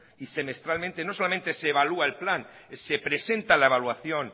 y semestralmente y no solamente se evalúa el plan se presenta la evaluación